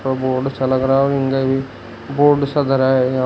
और बोड सा लग रहा है बोड सा धरा हैं यहां--